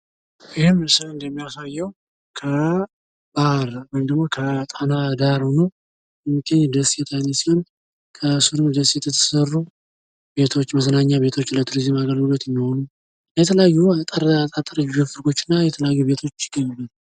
ይሄ ምስል እንደሚያሳየው ከጣና ዳር ሆኖ የሚገኝ ደሴት አይነት ሲሆን ከስሩ ደሴት የተሰሩ ቤቶች መዝናኛ ቤቶች ለቱሪዝም አገልግሎት የሚሆኑ የተለያዩ አጠር አጠር ያሉ ጎጆዎች እና ቤቶች ይገኙበታል::